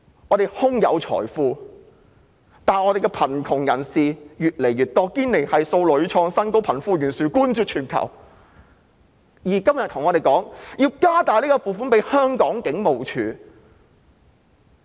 我們空有財富，但香港的貧困人口卻越來越多，堅尼系數屢創新高，貧富懸殊冠絕全球，而政府今天還告訴我們要增加警務處的撥款。